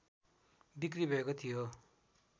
बिक्रि भएको थियो